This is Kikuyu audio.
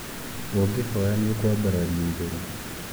ũngihoya nĩ ũkwambararĩo igũrũ